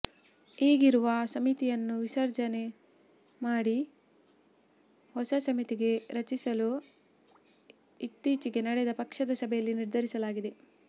ಈಗಿರುವ ಸಮಿತಿಯನ್ನು ವಿಸರ್ಜನೆ ಮಾಡಿ ಹೊಸ ಸಮಿತಿ ರಚಿಸಲು ಇತ್ತೀಚೆಗೆ ನಡೆದ ಪಕ್ಷದ ಸಭೆಯಲ್ಲಿ ನಿರ್ಧರಿಸಲಾಗಿದೆ